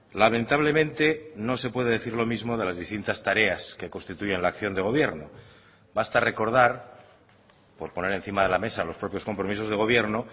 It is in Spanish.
lamentablemente no se puede decir lo mismo de las distintas tareas que constituyen la acción de gobierno basta recordar por poner encima de la mesa los propios compromisos de gobierno